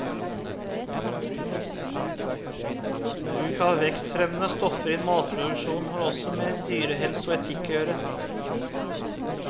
Bruk av vekstfremmende stoffer i matproduksjonen har også med dyrehelse og etikk å gjøre.